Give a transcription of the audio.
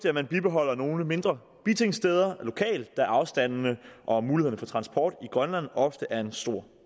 at man bibeholder nogle mindre bitingsteder lokalt da afstandene og mulighederne for transport i grønland ofte er en stor